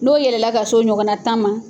N'o yɛlɛ la ka s'o ɲɔgɔnna tan ma